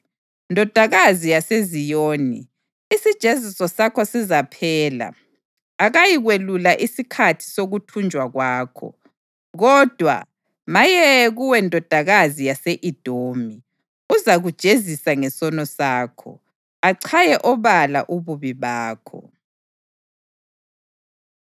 Ndodakazi yaseZiyoni, isijeziso sakho sizaphela; akayikwelula isikhathi sokuthunjwa kwakho. Kodwa, maye kuwe Ndodakazi yase-Edomi, uzakujezisa ngesono sakho, achaye obala ububi bakho.